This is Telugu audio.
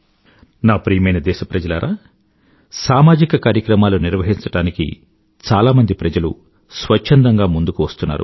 నా ప్రియమైన దేశప్రజలారా సామాజిక కార్యక్రమాలు నిర్వహించడానికి చాలామంది ప్రజలు స్వచ్ఛందంగా ముందుకు వస్తున్నారు